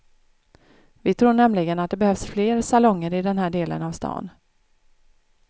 Vi tror nämligen att det behövs fler salonger i den här delen av stan.